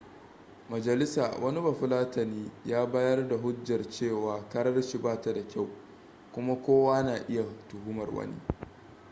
majalisa wani bafulatani ya bayar da hujjar cewa karar shi ba ta da kyau kuma kowa na iya tuhumar wani